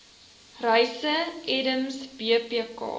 reise edms bpk